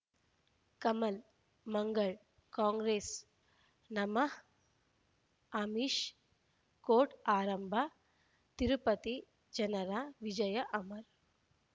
Kamal Mangal Congress ನಮಃ Amish court ಆರಂಭ ತಿರುಪತಿ ಜನರ ವಿಜಯ ಅಮರ್